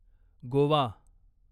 Goa